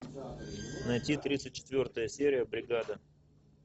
найти тридцать четвертая серия бригада